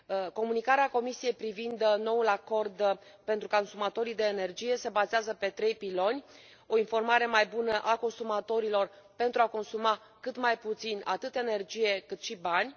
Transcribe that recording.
Comunicarea Comisiei privind noul acord pentru consumatorii de energie se bazează pe trei piloni o informare mai bună a consumatorilor pentru a consuma cât mai puțin, atât energie, cât și bani